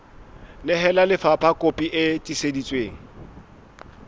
nehela lefapha kopi e tiiseditsweng